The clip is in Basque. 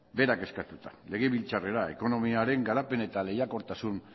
berak eskatuta legebiltzarrera ekonomiaren garapen eta lehiakortasun